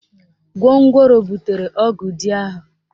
Gwongworo butere ọgụ dị ahụ